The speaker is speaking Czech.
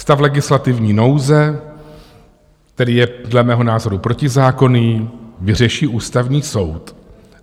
Stav legislativní nouze, který je dle mého názoru protizákonný, vyřeší Ústavní soud.